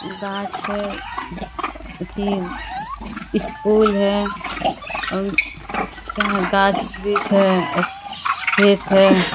गाछ है अथी स्कूल है और यहाँ गाछ वृक्ष है खेत है।